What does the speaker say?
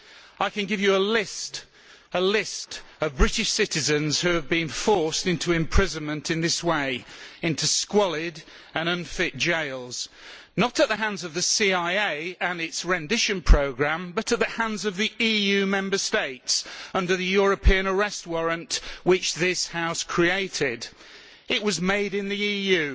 I can give you a list of British citizens who have been forced into imprisonment in this way, into squalid and unfit jails, not at the hands of the CIA and its rendition programme, but at the hands of the EU Member States under the European arrest warrant which this House created. It was made in the EU.